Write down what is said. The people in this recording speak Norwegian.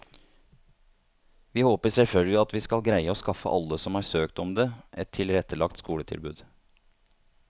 Vi håper selvfølgelig at vi skal greie å skaffe alle som har søkt om det, et tilrettelagt skoletilbud.